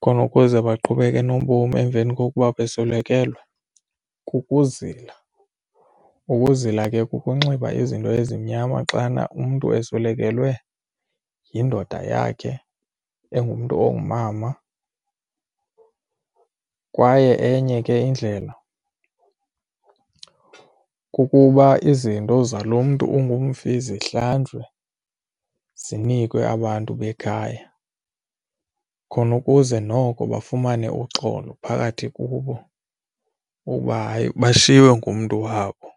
khona ukuze baqhubeke nobomi emveni kokuba beswelekelwe kukuzila, ukuzila ke kukunxiba izinto ezimnyama xana umntu uswelekelwe yindoda yakhe engumntu ongumama. Kwaye enye ke indlela kukuba izinto zaloo mntu ungumfi zihlanjwe zinikwe abantu bekhaya khona ukuze noko bafumane uxolo phakathi kubo uba hayi bashiywe ngumntu wabo.